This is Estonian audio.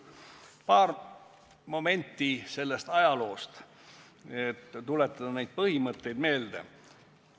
Meenutan paari momenti selle ajaloost, et tuletada selle põhimõtteid meelde.